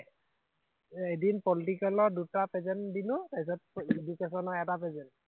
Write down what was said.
এদিন পলিটিকেলত দুটা প্ৰেচেণ্ট দিলো, তাৰপিছতে এডোকেছনত এটা প্ৰেচেণ্ট